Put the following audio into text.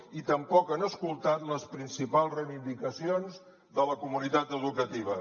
i tampoc han escoltat les principals reivindicacions de la comunitat educativa